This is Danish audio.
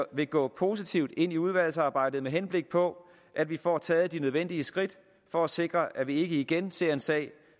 vil gå positivt ind i udvalgsarbejdet med henblik på at vi får taget de nødvendige skridt for at sikre at vi ikke igen ser en sag